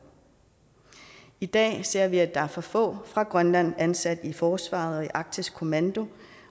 i dag ser vi at der er for få fra grønland ansat i forsvaret og i arktisk kommando